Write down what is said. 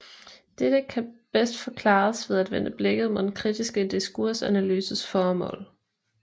Dette kan bedst forklares ved at vende blikket mod den kritiske diskursanalyses formål